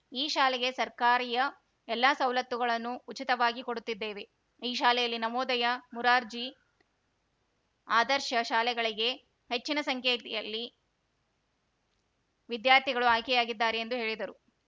ಈ ಶಾಲೆಗೆ ಸರ್ಕಾರಿಯ ಎಲ್ಲಾ ಸೌಲತ್ತುಗಳನ್ನು ಉಚಿತವಾಗಿ ಕೊಡುತ್ತಿದ್ದೆವೆ ಈ ಶಾಲೆಯಲ್ಲಿ ನವೋದಯ ಮೂರರ್ಜಿ ಆದರ್ಶ ಶಾಲೆಗಳಿಗೆ ಹೆಚ್ಚಿನ ಸಂಖ್ಯೆಯಲ್ಲಿ ವಿದ್ಯಾರ್ಥಿಗಳು ಆಯ್ಕೆ ಯಾಗಿದ್ದಾರೆ ಎಂದು ಹೇಳಿದರು